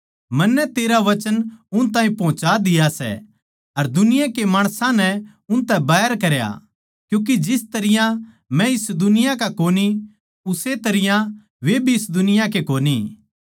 मन्नै तेरा वचन उन ताहीं पोहोचा दिया सै अर दुनिया के माणसां नै उनतै बैर करया क्यूँके जिस तरियां मै इस दुनिया का कोनी उस्से तरियां वे भी इस दुनिया के कोनी